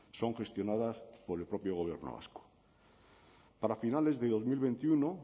son gestionadas por el propio gobierno vasco para finales de dos mil veintiuno